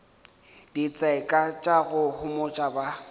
ditseka tša go homotša ba